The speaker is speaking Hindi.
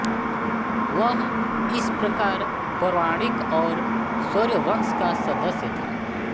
वह इस प्रकार पौराणिक सौर वंश का सदस्य था